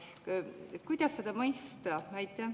" Kuidas seda mõista?